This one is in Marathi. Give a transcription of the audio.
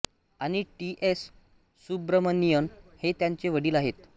आणि टी एस सुब्रमणीयन हे त्यांचे वडील आहेत